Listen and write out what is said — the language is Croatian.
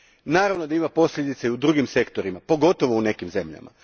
Naravno da ima posljedica i u drugim sektorima, pogotovo u nekim zemljama.